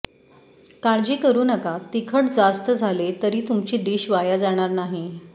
काळजी करू नका तिखट जास्त झाले तरी तुमची डिश वाया जाणार नाहीये